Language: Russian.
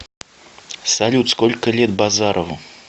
салют сколько лет базарову